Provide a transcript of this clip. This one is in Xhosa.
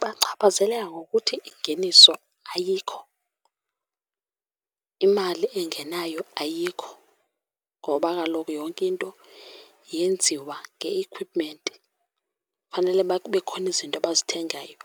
Bachaphazeleka ngokuthi ingeniso ayikho, imali engenayo ayikho. Ngoba kaloku yonke into yenziwa nge-equipment, fanele uba kube khona izinto abazithengayo